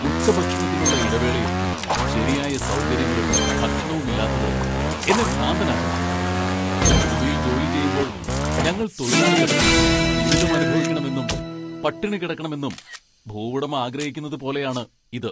ഉച്ചഭക്ഷണത്തിനുള്ള ഇടവേളയിൽ ശരിയായ സൗകര്യങ്ങളും ഭക്ഷണവും ഇല്ലാത്തത് എന്നെ ഭ്രാന്തനാക്കുന്നു. ഭൂമിയിൽ ജോലി ചെയ്യുമ്പോൾ ഞങ്ങൾ തൊഴിലാളികൾ ദുരിതമനുഭവിക്കണമെന്നും പട്ടിണി കിടക്കണമെന്നും ഭൂവുടമ ആഗ്രഹിക്കുന്നത് പോലെയാണ് ഇത്.